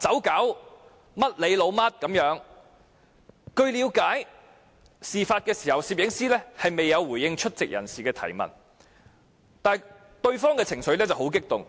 據了解，事發時攝影師未有回應出席人士的提問，但對方的情緒卻很激動。